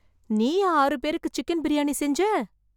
நீயா ஆறு பேருக்கு சிக்கன் பிரியாணி செஞ்ச